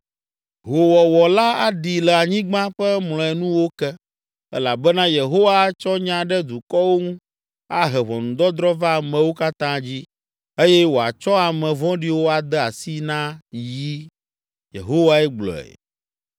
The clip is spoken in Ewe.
Hoowɔwɔ la aɖi le anyigba ƒe mlɔenuwo ke, elabena Yehowa atsɔ nya ɖe dukɔwo ŋu, ahe ʋɔnudɔdrɔ̃ va amewo katã dzi eye wòatsɔ ame vɔ̃ɖiwo ade asi na yi.” Yehowae gblɔe.